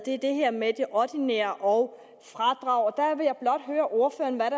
er det her med det ordinære og fradraget der vil jeg blot høre ordføreren hvad